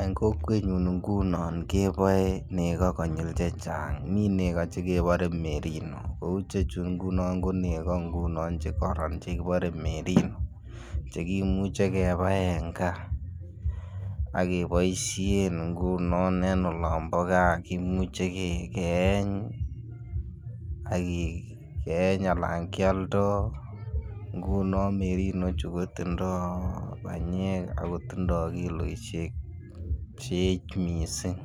En kokwenyun ngunon keboe nego konyil chechang, mii nego che kebore merino. Kouu chechu ngunon ko nego ngunon che koron ii chekibore merino chekimuche kebai en gaa akeboishen ngunon en olombo gaa kimuche keeny, keeny alan kyoldo. Ngunon merino chu kotindo banyek Ako tindo kiloishek che eech missing